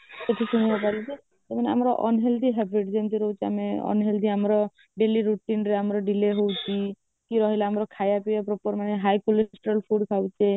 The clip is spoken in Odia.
କିଛି ତ ହେବ ନି ଯେ ତମାନେ ଆମର unhealthy habit ଯେମିତି ରହୁଛି ଆମେ unhealthy ଆମର daily routine ରେ ଆମର daily ହେଉଛି କି ରହିଲା ଆମର ଖାଇବା ପିଇବା proper ନାଇଁ high cholesterol food ଖାଉଛେ